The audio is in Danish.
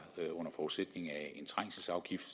under forudsætning af en trængselsafgift